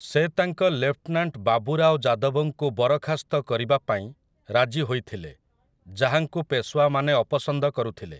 ସେ ତାଙ୍କ ଲେଫ୍ଟନାଣ୍ଟ ବାବୁରାଓ ଯାଦବଙ୍କୁ ବରଖାସ୍ତ କରିବାପାଇଁ ରାଜି ହୋଇଥିଲେ, ଯାହାଙ୍କୁ ପେଶୱାମାନେ ଅପସନ୍ଦ କରୁଥିଲେ ।